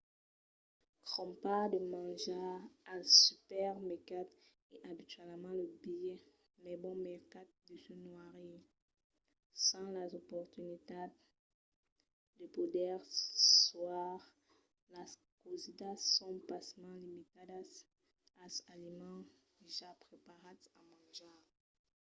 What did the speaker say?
crompar de manjar als supermercats es abitualament lo biais mai bon mercat de se noirir. sens las oportunitats de poder còire las causidas son pasmens limitadas als aliments ja preparats a manjar